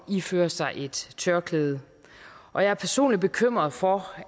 iføre sig et tørklæde og jeg er personligt bekymret for